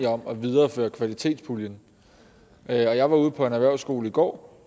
om at videreføre kvalitetspuljen jeg var ude på en erhvervsskole går